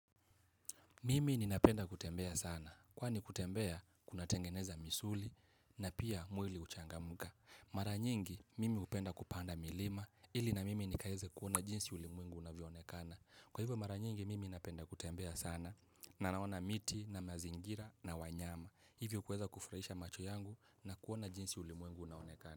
Mimi ninapenda kutembea sana. Kwani kutembea kunatengeneza misuli na pia mwili huchangamka. Mara nyingi, mimi hupenda kupanda milima ili na mimi nikaweze kuona jinsi ulimwengu unavyoonekana. Kwa hivyo mara nyingi, mimi napenda kutembea sana na naona miti na mazingira na wanyama. Hivyo kuweza kufurahisha macho yangu na kuona jinsi ulimwengu unaonekana.